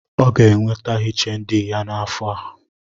O ga-enweta HND ya n’afọ